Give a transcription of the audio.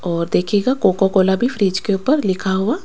और देखिएगा कोकोकोला भी फ्रिज के ऊपर लिखा हुआ--